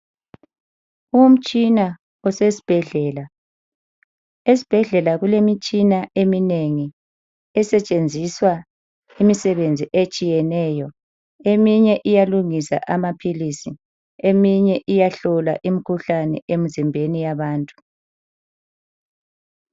Umtshina osesibhedlela. Esibhedlela kulemitshina eminengi esetshenziswa imisebenzi etshiyeneyo. Eminye iyalungisa amaphilisi. Eminye iyahlola imikhuhlane emzimbeni yabantu.